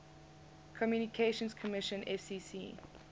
communications commission fcc